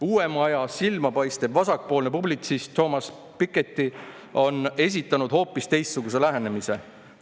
Uuema aja silmapaistev vasakpoolne publitsist Thomas Piketty on esitanud hoopis teistsuguse lähenemise.